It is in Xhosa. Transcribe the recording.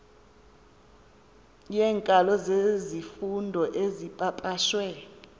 yeenkalo zezifundo ezipapashwe